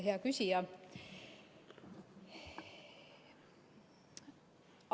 Hea küsija!